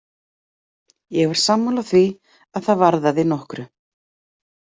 Ég var sammála því að það varðaði nokkru.